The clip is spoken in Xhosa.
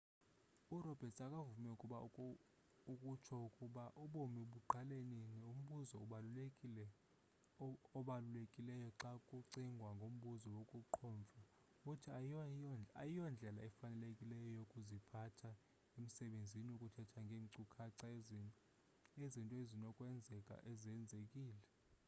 uroberts akavumi ukutsho ukuba ubomi buqala nini umbuzo obalulekileyo xa kucingwa ngombuzo wokuqhomfa uthi ayiyondlela efanelekileyo yokuziphatha emsebenzini ukuthetha ngeenkcukacha ezinto ekusenokwenzeka zenzekile